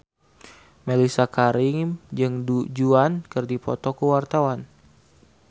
Mellisa Karim jeung Du Juan keur dipoto ku wartawan